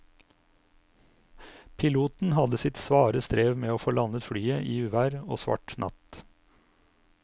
Piloten hadde sitt svare strev med å få landet flyet i uvær og svart natt.